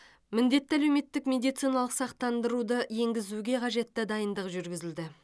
міндетті әлеуметтік медициналық сақтандыруды енгізуге қажетті дайындық жүргізілді